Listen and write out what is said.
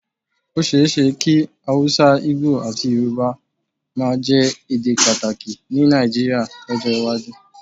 Ó ṣeé ṣe kí Hausa, Igbo àti Yorùbá máa jẹ́ èdè pàtàkì ní Nàìjíríà lọ́jọ́ iwájú